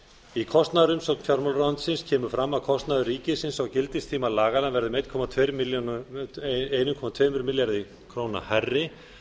í kostnaðarumsögn fjármálaráðuneytisins kemur fram að kostnaður ríkisins á gildistíma laganna verði um einn komma tvö milljarði króna hærri